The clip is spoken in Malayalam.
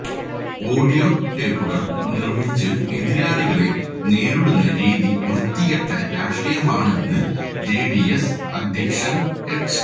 ഓഡിയോ ടേപ്പുകള് നിര്മിച്ച് എതിരാളികളെ നേരിടുന്ന രീതി വൃത്തികെട്ട രാഷ്ട്രീയമാണെന്ന് ജെഡിഎസ് അദ്ധ്യക്ഷന് എച്ച്